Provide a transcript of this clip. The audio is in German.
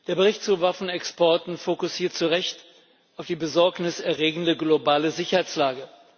Der Bericht zu Waffenexporten fokussiert zu Recht auf die besorgniserregende globale Sicherheitslage.